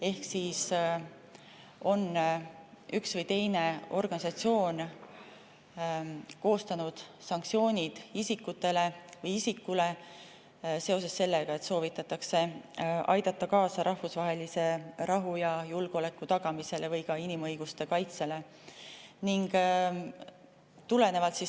Ehk üks või teine organisatsioon on koostanud sanktsioonid isikutele või isikule seoses sellega, et soovitakse aidata kaasa rahvusvahelise rahu ja julgeoleku tagamisele või ka inimõiguste kaitsele.